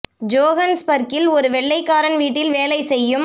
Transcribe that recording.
ஜோகன்ஸ்பர்க்கில் ஒரு வெள்ளைக்காரன் வீட்டில் வேலை செய்யும்